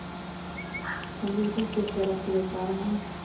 En liten flicka räcker upp armen.